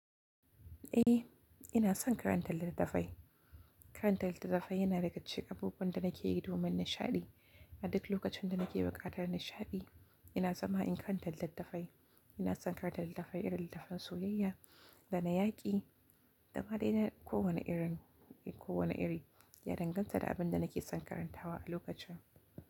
Eh, ina son karanta littattafai. Karanta littattafai yana da gashi ga abubuwan da nake yi domin nishaɗi. A duk lokacin da nake buƙatar nishaɗi, ina zama in karanta littattafai. Ina son karanta littattafai irin littattafan soyayya da na yaƙi da ma dai na kowane irin, kowane iri ya danganta da abin da nake son karantawa a lokacin.